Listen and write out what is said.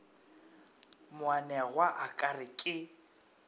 moanegwa a ka re ke